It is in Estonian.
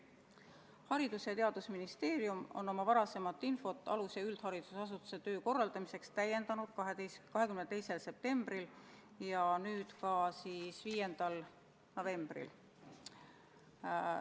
Haridus- ja Teadusministeerium on oma varasemat infot alus- ja üldharidusasutuste töö korraldamise kohta täiendanud 22. septembril ja nüüd ka 5. novembril.